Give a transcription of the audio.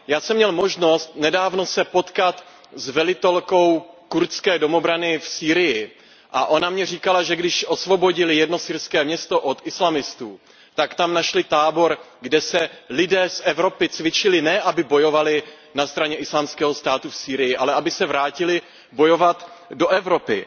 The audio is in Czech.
Já jsem měl možnost nedávno se potkat s velitelkou kurdské domobrany v Sýrii a ona mi říkala, že když osvobodili jedno syrské město od islamistů, tak tam našli tábor, kde se lidé z Evropy cvičili, ne aby bojovali na straně Islámského státu v Sýrii, ale aby se vrátili bojovat do Evropy.